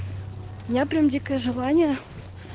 я прям дикое желание